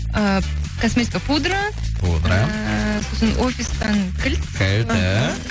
ы косметика пудра пудра ыыы сосын офистан кілт кілт ііі